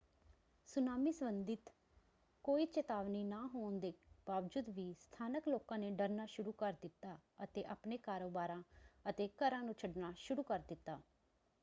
Tsunami ਸੰਬੰਧਿਤ ਕੋਈ ਚੇਤਾਵਨੀ ਨਾ ਹੋਣ ਦੇ ਬਾਵਜੂਦ ਵੀ ਸਥਾਨਕ ਲੋਕਾਂ ਨੇ ਡਰਨਾ ਸ਼ੁਰੂ ਕਰ ਦਿੱਤਾ ਅਤੇ ਆਪਣੇ ਕਾਰੋਬਾਰਾਂ ਅਤੇ ਘਰਾਂ ਨੂੰ ਛੱਡਣਾ ਸ਼ੁਰੂ ਕਰ ਦਿੱਤਾ।